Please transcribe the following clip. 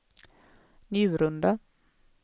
Njurunda